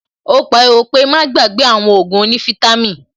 Ó pariwo pé "Má gbàgbé àwọn Ògùn onífítàmì"